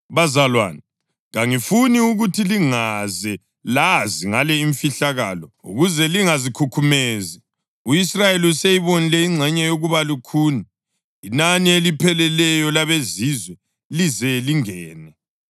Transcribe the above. Bazalwane, kangifuni ukuthi lingaze lazi ngale imfihlakalo, ukuze lingazikhukhumezi: U-Israyeli useyibonile ingxenye yokuba lukhuni inani elipheleleyo labeZizwe lize lingene.